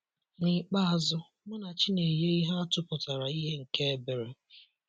N'ikpeazụ, Munachi na-enye ihe atụ pụtara ìhè nke ebere.